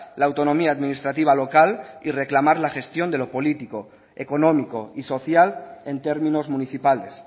la autonomía administrativa local y reclamar la gestión de lo político económico y social en términos municipales